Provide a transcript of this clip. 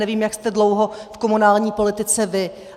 Nevím, jak jste dlouho v komunální politice vy.